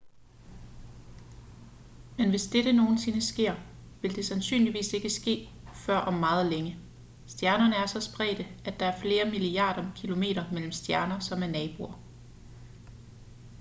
men hvis dette nogensinde sker vil det sandsynligvis ikke ske før om meget længe stjernerne er så spredte at der er flere milliarder kilometer mellem stjerner som er naboer